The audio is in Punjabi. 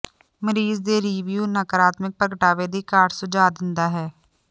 ਮਰੀਜ਼ ਦੇ ਰਿਵਿਊ ਨਕਾਰਾਤਮਕ ਪ੍ਰਗਟਾਵੇ ਦੀ ਘਾਟ ਸੁਝਾਅ ਦਿੰਦਾ ਹੈ